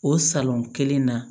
O salon kelen na